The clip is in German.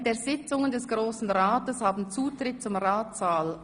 « Während der Sitzungen des Grossen Rates haben Zutritt zum Ratssaal: